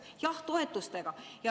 Jah, toetuste.